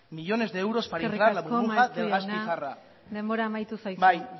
millones de euros para inflar la burbuja del gas pizarra eskerrik asko maeztu jauna denbora amaitu zaizu bai